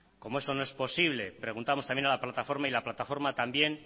como eso no es posible preguntamos también a la plataforma y la plataforma también